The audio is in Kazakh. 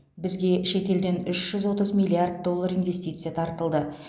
бізге шет елден үш жүз отыз миллиард доллар инвестиция тартылды